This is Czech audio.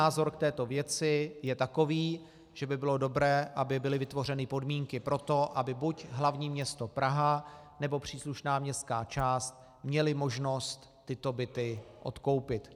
Můj názor k této věci je takový, že by bylo dobré, aby byly vytvořeny podmínky pro to, aby buď hlavní město Praha, nebo příslušná městská část měly možnost tyto byty odkoupit.